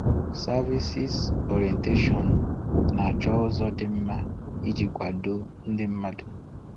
Services Orientation—Na-achọ ụzọ dị mma iji kwado ndị mmadụ.